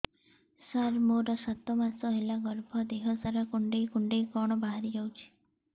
ସାର ମୋର ସାତ ମାସ ହେଲା ଗର୍ଭ ଦେହ ସାରା କୁଂଡେଇ କୁଂଡେଇ କଣ ବାହାରି ଯାଉଛି